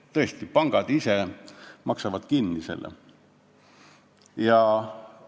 Pangad ise maksavad tõesti selle kinni.